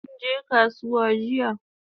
Kinje kasuwan jiya?